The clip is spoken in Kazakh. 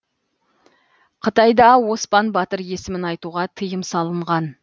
қытайда оспан батыр есімін айтуға тиым салынған